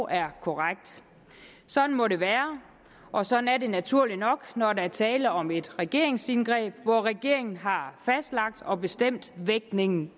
er korrekt sådan må det være og sådan er det naturligt nok når der er tale om et regeringsindgreb hvor regeringen har fastlagt og bestemt vægtningen